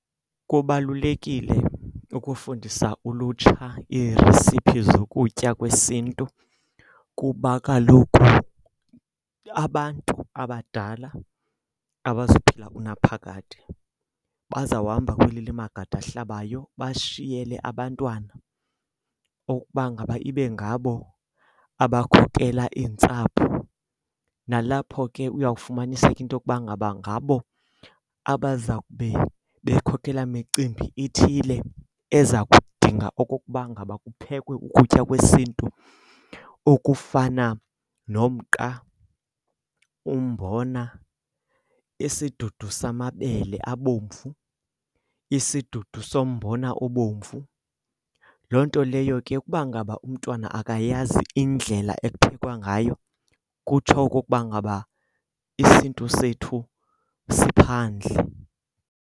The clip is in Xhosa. Kubalulekile ukufundisa ulutsha iiresiphi zokutya kwesiNtu kuba kaloku abantu abadala abazuphila unaphakade. Bazawuhamba kweli limagade ahlabayo bashiyele abantwana okuba ngaba ibe ngabo abakhokela iintsapho. Nalapho ke uyawufumaniseka into yokuba ngaba ngabo abaza kube bekhokela micimbi ithile eza kudinga okokuba ngaba kuphekwe ukutya kwesiNtu okufana nomqa, umbona, isidudu samabele abomvu, isidudu sombona obomvu. Loo nto leyo ke ukuba ngaba umntwana akayazi indlela ekuphekwa ngayo, kutsho okokuba ngaba isiNtu sethu siphandle.